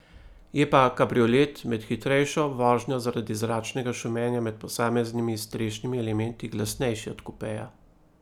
Je pa kabriolet med hitrejšo vožnjo zaradi zračnega šumenja med posameznimi strešnimi elementi glasnejši od kupeja.